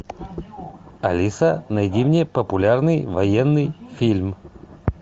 алиса найди мне популярный военный фильм